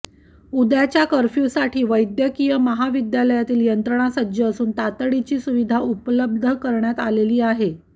उद्याच्या कर्फ्युसाठी वैद्यकीय महाविद्यालयातील यंत्रणा सज्ज असून तातडीची सुविधा उपलब्ध करण्यात आलेली आहे